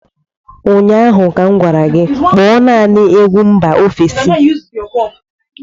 Ụnyaahụ m gwara gị, Kpọọ naanị egwu mba ofesi